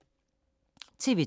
TV 2